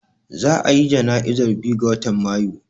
Za a ya jana'izar biyu ga watan Mayu